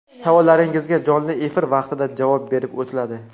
Savollaringizga jonli efir vaqtida javob berib o‘tiladi.